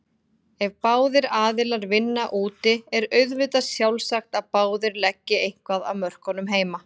Ef báðir aðilar vinna úti er auðvitað sjálfsagt að báðir leggi eitthvað af mörkum heima.